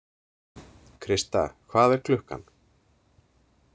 Christa, hvað er klukkan?